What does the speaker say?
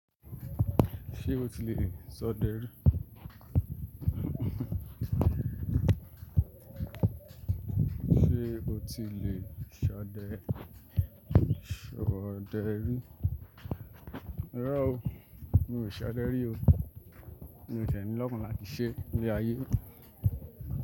Ṣé o ti lè ṣode rí? Ṣé o ti lè ṣade, ṣade rí? Rárá o, mi ò ṣode rí o. Mi ò ṣi ní lọ́kàn láti ṣe ní ayé.